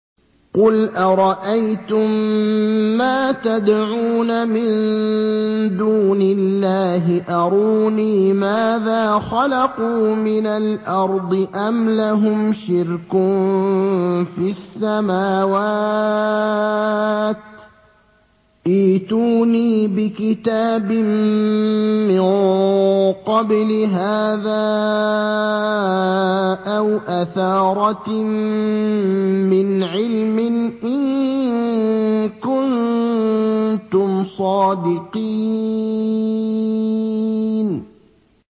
قُلْ أَرَأَيْتُم مَّا تَدْعُونَ مِن دُونِ اللَّهِ أَرُونِي مَاذَا خَلَقُوا مِنَ الْأَرْضِ أَمْ لَهُمْ شِرْكٌ فِي السَّمَاوَاتِ ۖ ائْتُونِي بِكِتَابٍ مِّن قَبْلِ هَٰذَا أَوْ أَثَارَةٍ مِّنْ عِلْمٍ إِن كُنتُمْ صَادِقِينَ